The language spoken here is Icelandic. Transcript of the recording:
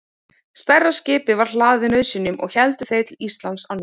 Stærra skipið var hlaðið nauðsynjum og héldu þeir til Íslands á ný.